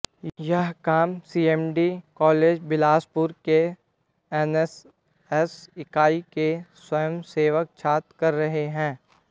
यह काम सीएमडी कॉलेज बिलासपुर के एनएसएस इकाई के स्वयंसेवक छात्र कर रहे हैं